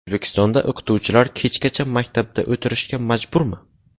O‘zbekistonda o‘qituvchilar kechgacha maktabda o‘tirishga majburmi?.